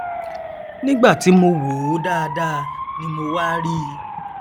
nígbà ti mo wòó dáadáa ni mo wá rí i